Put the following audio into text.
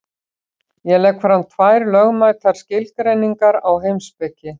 Ég legg fram tvær lögmætar skilgreiningar á heimspeki.